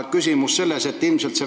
Küsimus on aga selline.